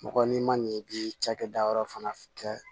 Mɔgɔ n'i ma ɲɛ i bi cakɛda yɔrɔ fana kɛ